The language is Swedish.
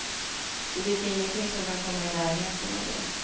Det finns ingenting som kan komma i närheten av det.